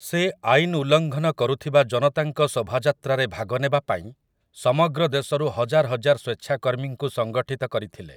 ସେ ଆଇନ୍ ଉଲ୍ଲଂଘନ କରୁଥିବା ଜନତାଙ୍କ ଶୋଭାଯାତ୍ରାରେ ଭାଗ ନେବା ପାଇଁ ସମଗ୍ର ଦେଶରୁ ହଜାର ହଜାର ସ୍ୱେଚ୍ଛାକର୍ମୀଙ୍କୁ ସଂଗଠିତ କରିଥିଲେ ।